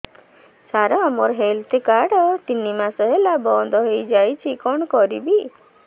ସାର ମୋର health card ତିନି ମାସ ହେଲା ବନ୍ଦ ହେଇଯାଇଛି କଣ କରିବି